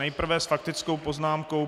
Nejprve s faktickou poznámkou...